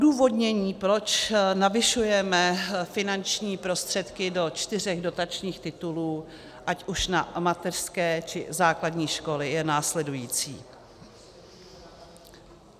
Odůvodnění, proč navyšujeme finanční prostředky do čtyř dotačních titulů, ať už na mateřské, či základní školy, je následující.